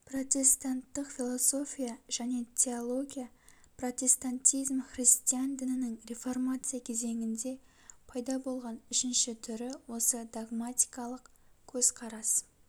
протестанттық философия және теология протестантизм христиан дінінің реформация кезеңінде пайда болған үшінші түрі осы догматикалык көзқарас